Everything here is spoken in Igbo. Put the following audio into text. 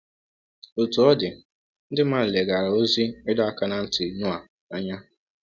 Otú ọ dị, ndị mmadụ leghaara ozi ịdọ aka ná ntị Noa anya.